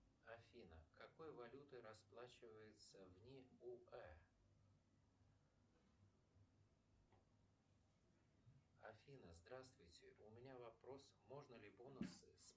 афина какой валютой расплачиваются в ниуэ афина здравствуйте у меня вопрос можно ли бонусы